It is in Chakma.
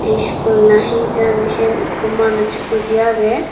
eskul na hejine siyan ekko manus boji aagey.